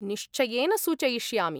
निश्चयेन सूचयिष्यामि।